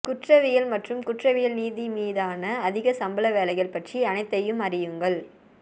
குற்றவியல் மற்றும் குற்றவியல் நீதிமீதான அதிக சம்பள வேலைகள் பற்றி அனைத்தையும் அறியுங்கள்